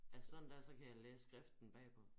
Altså sådan dér så kan jeg læse skriften bagpå